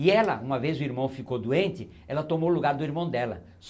E ela, uma vez o irmão ficou doente, ela tomou o lugar do irmão dela.